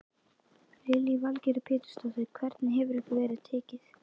Lillý Valgerður Pétursdóttir: Hvernig hefur ykkur verið tekið?